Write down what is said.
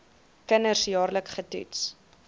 kinders jaarliks getoets